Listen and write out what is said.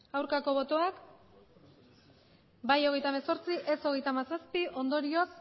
aurkako botoak bai hogeita hemezortzi ez hogeita hamazazpi ondorioz